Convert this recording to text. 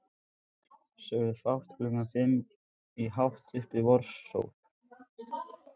Sögðum fátt klukkan fimm í hátt uppi vorsól.